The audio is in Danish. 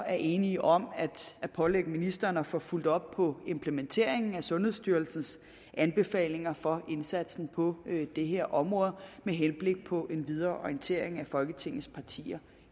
er enige om at pålægge ministeren at få fulgt op på implementeringen af sundhedsstyrelsens anbefalinger for indsatsen på det her område med henblik på en videre orientering af folketingets partier